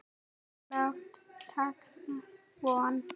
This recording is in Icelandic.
Blár táknar von.